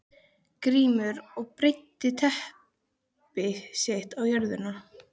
Grímur og breiddi teppi sitt á jörðina.